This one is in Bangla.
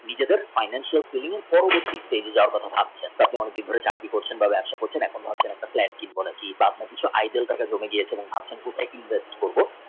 নিজেদের financial feeling পাওয়ার কথা ভাবছেন এত দিন ধরে চাকরি করছেন বা ব্যাবসা করছেন এখনো পর্যন্ত একী monkey বা কিছু একটা identity ভাবছেন tech এ invest করবো।